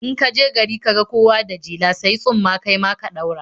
In ka je gari ka ga kowa da jela, sayi tsumma kai ma ka ɗaura.